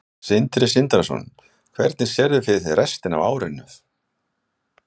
Sindri Sindrason: Hvernig sérðu fyrir þér restina af árinu?